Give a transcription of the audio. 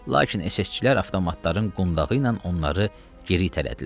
Lakin SSÇ-lər avtomatların qundağı ilə onları geri itələdilər.